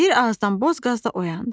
Bir azdan boz qaz da oyandı.